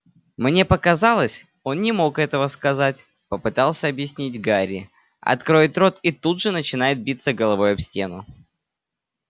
мне показалось он не мог этого сказать попытался объяснить гарри откроет рот и тут же начинает биться головой об стену